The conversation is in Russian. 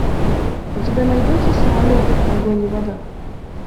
у тебя найдется самолеты огонь и вода